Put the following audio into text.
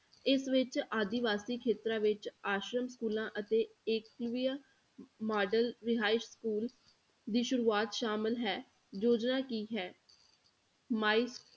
ਇਸ ਵਿੱਚ ਆਦੀਵਾਸੀ ਖੇਤਰਾਂ ਵਿੱਚ ਆਸ਼ਰਮ schools ਅਤੇ ਏਕਲਵਿਆ model ਰਿਹਾਇਸ school ਦੀ ਸ਼ੁਰੂਆਤ ਸ਼ਾਮਲ ਹੈ, ਯੋਜਨਾ ਕੀ ਹੈ ਮਾਈ~